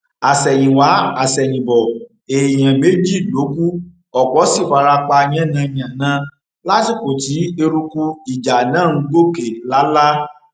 àsẹyìnwáàsẹyìnbọ èèyàn méjì ló kù ọpọ sì fara pa yánnayànna lásìkò tí eruku ìjà náà ń gòkè lálá